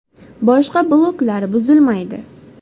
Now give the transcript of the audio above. Boshqa bloklar buzilmaydi.